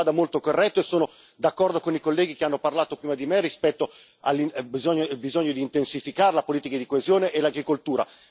Io credo che sia molto corretto e sono d'accordo con i colleghi che hanno parlato prima di me rispetto al bisogno di intensificare la politica di coesione e l'agricoltura.